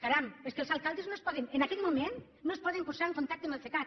caram és que els alcaldes en aquest moment no es poden posar en contacte amb el cecat